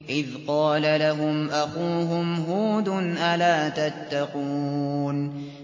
إِذْ قَالَ لَهُمْ أَخُوهُمْ هُودٌ أَلَا تَتَّقُونَ